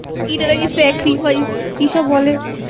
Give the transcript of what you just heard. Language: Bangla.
এটা নাকি Sacrifice । কি সব বলে